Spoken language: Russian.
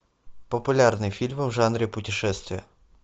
популярные фильмы в жанре путешествия